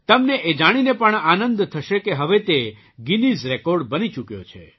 તમને એ જાણીને પણ આનંદ થશે કે હવે તે ગીનિઝ રેકૉર્ડ બની ચૂક્યો છે